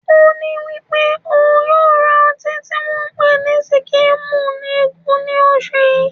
Oní wípé ò ń yóò ra ọtí tí wón ń pè ní Síkírímú Igù ní oṣù yí.